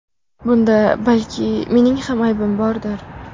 Bunda balki mening ham aybim bordir.